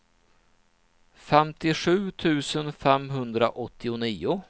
femtiosju tusen femhundraåttionio